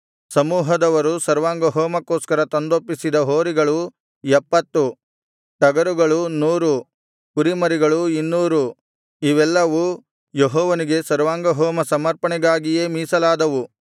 ಸಮೂಹದವರು ಸರ್ವಾಂಗಹೋಮಕ್ಕೋಸ್ಕರ ತಂದೊಪ್ಪಿಸಿದ ಹೋರಿಗಳು ಎಪ್ಪತ್ತು ಟಗರುಗಳು ನೂರು ಕುರಿಮರಿಗಳು ಇನ್ನೂರು ಇವೆಲ್ಲವು ಯೆಹೋವನಿಗೆ ಸರ್ವಾಂಗಹೋಮ ಸಮರ್ಪಣೆಗಾಗಿಯೇ ಮೀಸಲಾದವು